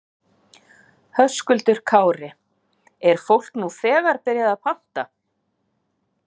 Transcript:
Höskuldur Kári: Er fólk nú þegar byrjað að panta?